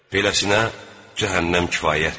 Beləsinə cəhənnəm kifayətdir.